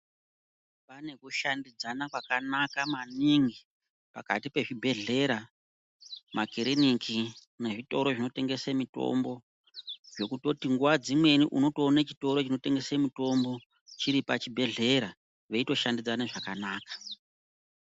Pane ku shandidzana kwakanaka maningi pakati pe zvibhedhlera makiriniki ne zvitoro zvino tengese mitombo zvekutoti nguva dzimweni unoto one chitoro chino tengese mutombo chiri pa chibhedhlera veito shandidzana zvakanaka.